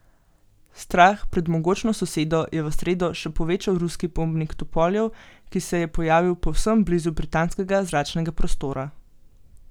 Strah pred mogočno sosedo je v sredo še povečal ruski bombnik tupoljev, ki se je pojavil povsem blizu britanskega zračnega prostora.